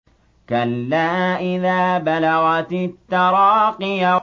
كَلَّا إِذَا بَلَغَتِ التَّرَاقِيَ